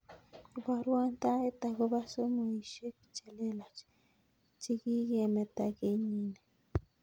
Ibaruan taet agobo somoishek chelelach chikikimeta kenyini